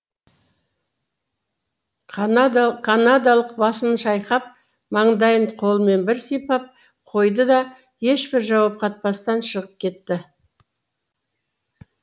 канадалық басын шайқап маңдайын қолымен бір сипап қойды да ешбір жауап қатпастан шығып кетті